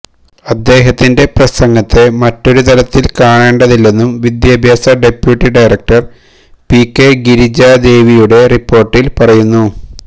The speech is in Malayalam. അദ്ദേഹത്തിന്റെ പ്രസംഗത്തെ മറ്റൊരു തരത്തില് കാണേണ്ടതില്ലെന്നും വിദ്യാഭ്യാസ deputy director P K Girija ദേവിയുടെ റിപ്പോര്ട്ടില് പറയുന്നു